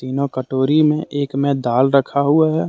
तीनों कटोरी में एक में दाल रखा हुआ है।